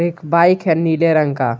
एक बाइक है नीले रंग का।